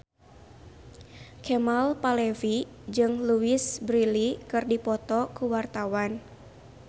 Kemal Palevi jeung Louise Brealey keur dipoto ku wartawan